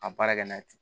A baara kɛ n'a ye ten